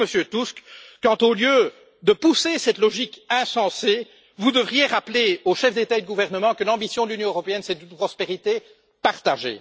Où êtes vous, Monsieur Tusk, quand, au lieu d'encourager cette logique insensée, vous devriez rappeler aux chefs d'État et de gouvernement que l'ambition de l'Union européenne, c'est une prospérité partagée?